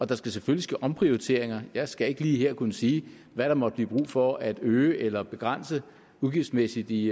der skal selvfølgelig ske omprioriteringer jeg skal ikke lige her kunne sige hvad der måtte blive brug for at øge eller begrænse udgiftsmæssigt i